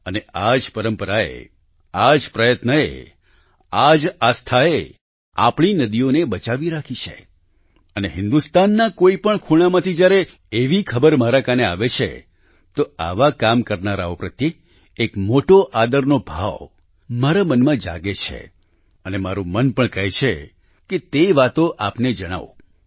અને આ જ પરંપરાએ આ જ પ્રયત્નએ આ જ આસ્થાએ આપણી નદીઓને બચાવી રાખી છે અને હિન્દુસ્તાનના કોઈપણ ખૂણામાંથી જ્યારે એવી ખબર મારા કાને આવે છે તો આવા કામ કરનારાઓ પ્રત્યે એક મોટો આદરનો ભાવ મારા મનમાં જાગે છે અને મારું પણ મન કરે છે કે તે વાતો આપને જણાવું